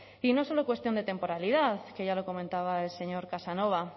y no es solo cuestión de temporalidad que ya lo comentaba el señor casanova